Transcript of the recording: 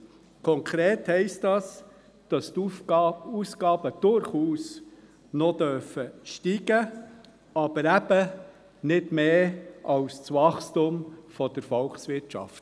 Konkret heisst dies, dass die Aufgaben durchaus noch steigen dürfen, aber eben nicht mehr als Wachstum der Volkswirtschaft.